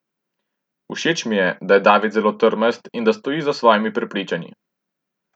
Všeč mi je, da je David zelo trmast in da stoji za svojimi prepričanji.